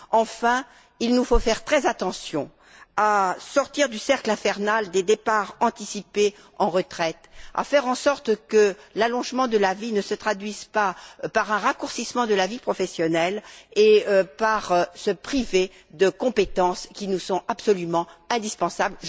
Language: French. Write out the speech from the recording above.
Enfin, il nous faut faire très attention à sortir du cercle infernal des départs anticipés en retraite, à faire en sorte que l'allongement de la vie ne se traduise pas par un raccourcissement de la vie professionnelle, en nous privant de compétences qui nous sont absolument indispensables.